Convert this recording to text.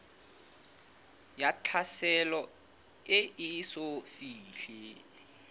ya tlhaselo e eso fihle